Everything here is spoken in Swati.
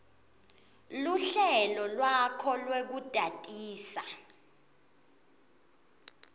luhlelo lwakho lwekutatisa